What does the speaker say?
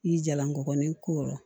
I jalankɔrɔnin kolo